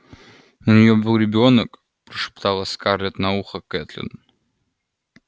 у неё был ребёнок прошептала скарлетт на ухо кэтлин